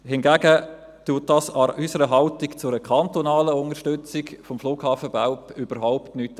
Hingegen ändert sich an unserer Haltung zu einer kantonalen Unterstützung des Flughafens Belp überhaupt nicht.